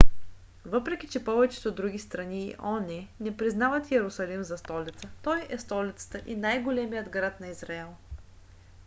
въпреки че повечето други страни и оон не признават йерусалим за столица той е столицата и най-големият град на израел